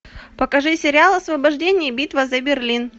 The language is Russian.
покажи сериал освобождение битва за берлин